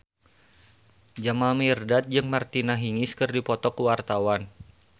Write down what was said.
Jamal Mirdad jeung Martina Hingis keur dipoto ku wartawan